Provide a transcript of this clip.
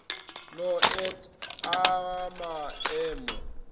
no et a ma emo